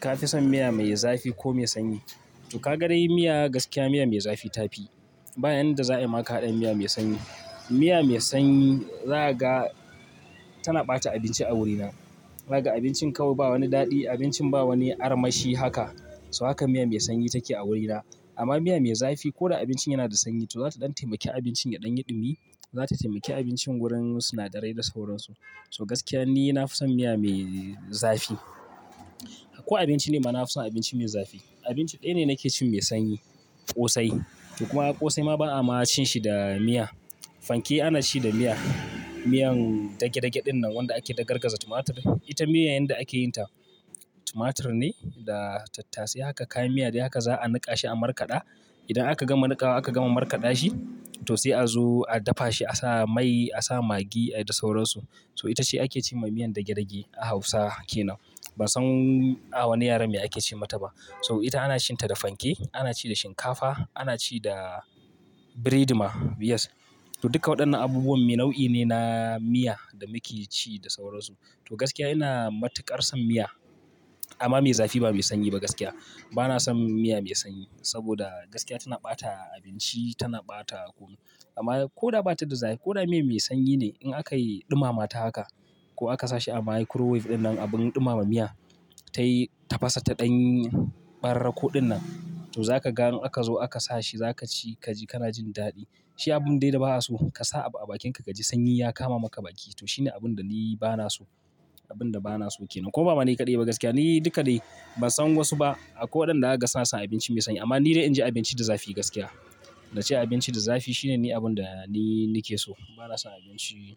Ka fi son miya mai zafi ko mai sanyi? To ka ga dai miya gaskiya miyan mai zafi ta fi. Ba yanda za a yi ma ka haɗa miya mai sanyi. Miya mai sanyi, za ka ga tana ɓata abinci a wurina. Za ka ga abincin kawai ba wani daɗi, abincin ba wani armashi haka. So haka miya mai sanyi take a wurina. Amma miya mai zafi ko da abincin yana da sanyi, to za ta ɗan taimaki abincin ya ɗan yi ɗumi, za ta taimaki abincin wurin sinadarai da sauransu. So gaskiya ni na fi son miya mai zafi. Ko abinci ne mana na fi son abinci mai zafi. Abinci ɗaya ne nake cin mai sanyi, ƙosai. To kuma ƙosai ma ba'a ma cin shi da miya. Fanke ana ci da miya. Miyan dage-dage ɗinnan wanda ake dagargaza tumatur, ita miyan yanda ake yin ta tumatur ne da tattasai haka kayan miya dai haka za a niƙa shi a markaɗa. Idan aka gama niƙawa aka gama niƙawa aka gama markaɗa shi, to sai a zo a dafa shi a sa mai, a sa magi da sauransu. So ita ce ake ce ma miyan dage-dage a Hausa ke nan. Bansan a wani yaren me ake ce mata ba. So ita ana cin ta da fanke, ana ci da shinkafa, ana ci da bread ma, yes. To duka waɗannan abubuwan nau'i ne na miya da muke ci da sauransu. To gaskiya ina matuƙar son miya. Amma mai zafi ba mai sanyi ba gaskiya. Bana son miya mai sanyi saboda gaskiya tana ɓata abinci, tana ɓata kunu. Amma ko da ba ta da za-- ko da miyan mai sanyi ne in aka yi ɗumama ta haka ko aka sa shi a microwave ɗinnan abun ɗumama miya, ta yi tafasa ta ɗanyin ɓararrako ɗinnan. To za kaga in aka zo aka sashi za kaci kaji kana jin daɗi. Shi abun dai da ba'a so ka sa a bakinka ka ji sanyi ya kama maka baki. To shi ne abun da ni ba na so. Abun da ba na so ke nan. Kuma bama ni kaɗai ba gaskiya, ni duka dai ban san wasu ba akwai waɗanda zakaga suna son abinci mai sanyi. Amma ni dai inji abinci da zafi gaskiya. Naci abinci da zafi shine ni abunda ni nike so. Ba na son abinci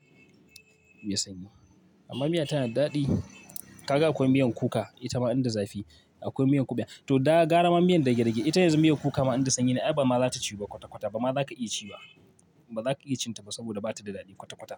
mai sanyi. Amma miya tana daɗi. Ka ga akwai miyan kuka, ita ma inda zafi. Akwai miyan kuɓewa. To da gara ma miyan dage-dage, ita yanzu miyan kuka ma inda sanyi ne ai bama zata ciwu kwata-kwata. Bama zaka iya ci ba. Ba za ka iya cin ta ba saboda ba ta da daɗi kwata-kwata.